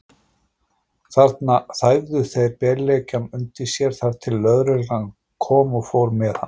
Þarna þæfðu þeir beljakann undir sér, þar til lögreglan kom og fór með hann.